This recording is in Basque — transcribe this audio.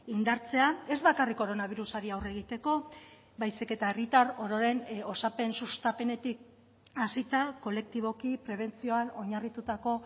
indartzea ez bakarrik koronabirusari aurre egiteko baizik eta herritar ororen osapen sustapenetik hasita kolektiboki prebentzioan oinarritutako